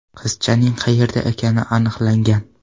Qizchaning qayerda ekani aniqlangan.